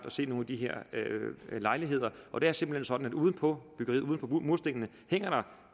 at se nogle af de her lejligheder og det er simpelt hen sådan at uden på byggeriet uden på murstenene hænger der